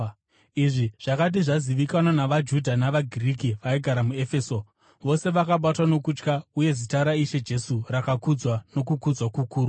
Izvi zvakati zvazivikanwa navaJudha navaGiriki vaigara muEfeso, vose vakabatwa nokutya, uye zita raIshe Jesu rakakudzwa nokukudzwa kukuru.